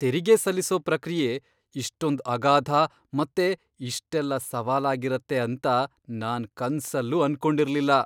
ತೆರಿಗೆ ಸಲ್ಲಿಸೋ ಪ್ರಕ್ರಿಯೆ ಇಷ್ಟೊಂದ್ ಅಗಾಧ ಮತ್ತೆ ಇಷ್ಟೆಲ್ಲ ಸವಾಲಾಗಿರತ್ತೆ ಅಂತ ನಾನ್ ಕನ್ಸಲ್ಲೂ ಅನ್ಕೊಂಡಿರ್ಲಿಲ್ಲ.